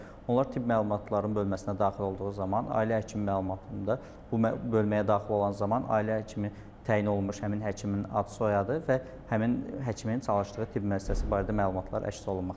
Onlar tibb məlumatların bölməsinə daxil olduğu zaman ailə həkimi məlumatında bu bölməyə daxil olan zaman ailə həkimi təyin olunmuş həmin həkimin ad-soyadı və həmin həkimin çalışdığı tibb müəssisəsi barədə məlumatlar əks olunmaqdadır.